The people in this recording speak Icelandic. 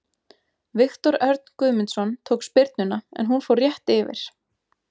Viktor Örn Guðmundsson tók spyrnuna en hún fór rétt yfir.